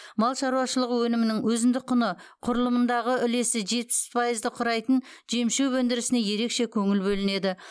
мал шаруашылығы өнімінің өзіндік құны құрылымындағы үлесі жетпіс пайызды құрайтын жемшөп өндірісіне ерекше көңіл бөлінеді